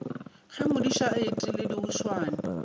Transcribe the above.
ge modiša a etile dihuswane